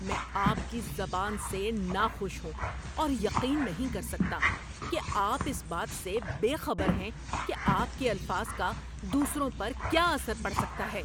میں آپ کی زبان سے ناخوش ہوں اور یقین نہیں کر سکتا کہ آپ اس بات سے بے خبر ہیں کہ آپ کے الفاظ کا دوسروں پر کیا اثر پڑ سکتا ہے۔